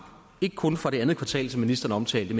ikke kun for det andet kvartal som ministeren omtalte